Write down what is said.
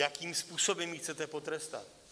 Jakým způsobem ji chcete potrestat?